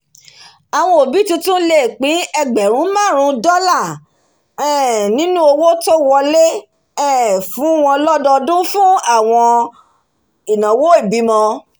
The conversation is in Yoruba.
àwọn òbí tuntun lè pín ẹgbèrun márùn-ún dọlà um nínú owó tó wọlé um fún wọn lọ́dọọdún fún àwọn ináwó ìbímọ